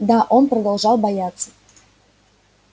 да он продолжал бояться